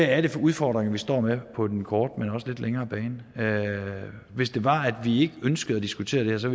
er for udfordringer vi står med på den korte men også lidt længere bane hvis det var at vi ikke ønskede at diskutere det her så